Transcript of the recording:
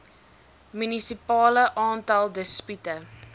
munisipale aantal dispute